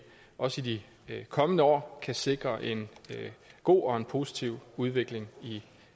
også i de kommende år kan sikre en god og positiv udvikling i